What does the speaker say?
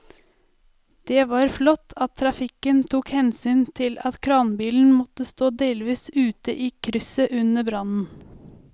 Det var flott at trafikken tok hensyn til at kranbilen måtte stå delvis ute i krysset under brannen.